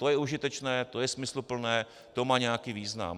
To je užitečné, to je smysluplné, to má nějaký význam.